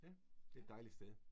Ja. Det et dejligt sted